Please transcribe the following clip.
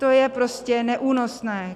To je prostě neúnosné.